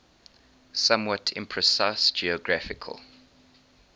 somewhat imprecise geographical